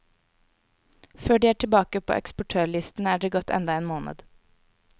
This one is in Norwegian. Før de er tilbake på eksportørlisten er det gått enda en måned.